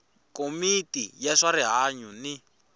komiti ya swa rihanyu ni